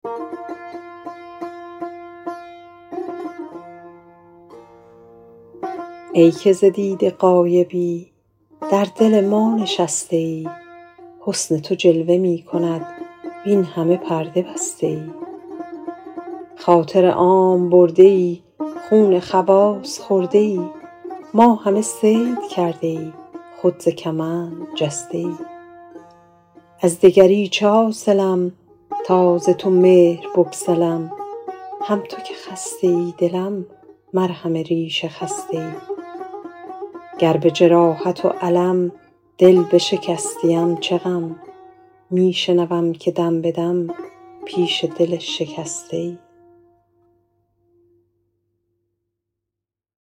ای که ز دیده غایبی در دل ما نشسته ای حسن تو جلوه می کند وین همه پرده بسته ای خاطر عام برده ای خون خواص خورده ای ما همه صید کرده ای خود ز کمند جسته ای از دگری چه حاصلم تا ز تو مهر بگسلم هم تو که خسته ای دلم مرهم ریش خسته ای گر به جراحت و الم دل بشکستیم چه غم می شنوم که دم به دم پیش دل شکسته ای